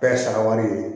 Bɛɛ ye saraka ye